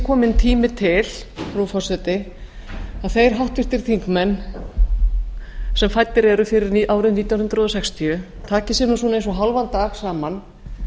kominn tími til frú forseti að þeir háttvirtir þingmenn sem fæddir eru fyrir árið nítján hundruð fimmtíu taki sér svona eins og hálfan dag saman